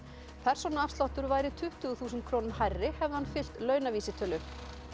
persónuafsláttur væri tuttugu þúsund krónum hærri hefði hann fylgt launavísitölu